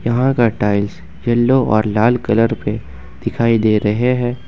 यहां का tiles yellow और लाल कलर पे दिखाई दे रहे हैं।